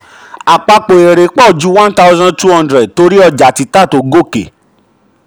àpapọ̀ èrè pọ̀ ju one thousand two hundred torí ọjà títà tó gòkè.